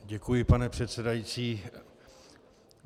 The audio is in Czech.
Děkuji, pane předsedající.